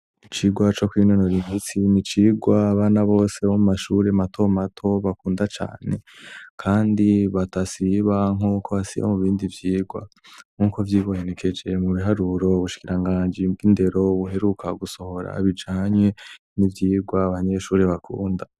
Icigwa co kwinonora imitsi n'icigwa abana bose bo mu mashure mato mato bakunda cane kandi badasiba nkuko basiba mu bindi vyigwa, nkuko vyibonekeje mu biharuro, ubushikirangaji bw'indero buheruka gusohora bijanye n'ivyigwa abanyeshure bakunda.